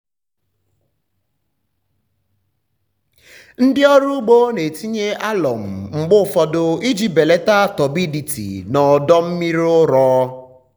ndị ọrụ ugbo na-etinye alụmụ mgbe ụfọdụ iji belata turbidity na ọdọ mmiri ụrọ.